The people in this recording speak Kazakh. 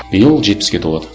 биыл жетпіске толады